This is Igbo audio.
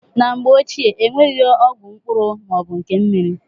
Na mgbe ochie, enweghị ọgwụ mkpụrụ ma ọ bụ nke mmiri.